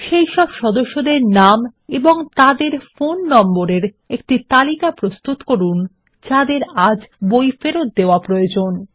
সেইসব সদস্যদের নাম এবং তাদের ফোন নম্বরের একটি তালিকা প্রস্তুত করুন যাদের আজ বই ফেরত দেওয়া প্রয়োজন